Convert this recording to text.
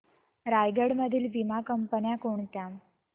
रायगड मधील वीमा कंपन्या कोणत्या